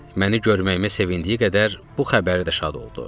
Məni görməyimə sevindiyi qədər bu xəbəri də şad oldu.